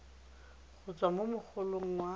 go tswa mo mogolong wa